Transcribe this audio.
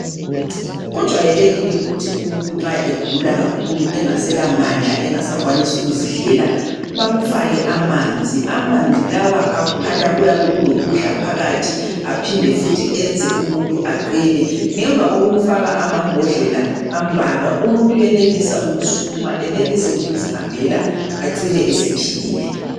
Kujwayelekile ukuthi umuntu nxa segula kakhulu engasela mandla engasakwanisi ukuzidlela bamfake amanzi, amanzi lawa akhanya kuyabe kulokudla phakathi aphinde futhi enze umuntu aqine ngemva kokumfaka amambodlela ambalwa umuntu uyenelisa ukusukuma enelise ukuzihambela acine esephilile.